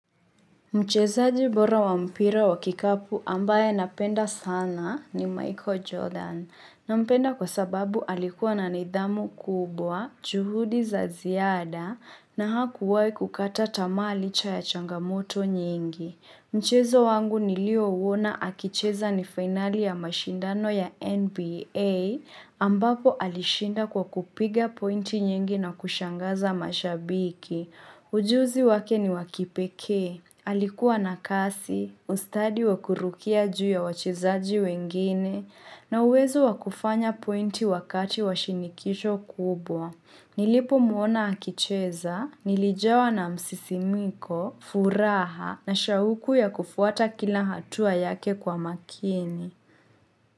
Mchezaji bora wa mpira wa kikapu ambaye napenda sana ni Michael Jordan. Nampenda kwa sababu alikuwa na nidhamu kubwa, juhudi za ziada na hakuwai kukata tamaa licha ya changamoto nyingi. Mchezo wangu nilio uona akicheza ni finali ya mashindano ya NBA ambapo alishinda kwa kupiga pointi nyingi na kushangaza mashabiki. Ujuzi wake ni wa kipekee. Alikuwa na kasi, ustadi wa kurukia juu ya wachezaji wengine na uwezo wa kufanya pointi wakati wa shinikisho kubwa. Nilipo muona akicheza, nilijawa na msisimko, furaha na shauku ya kufuata kila hatua yake kwa makini.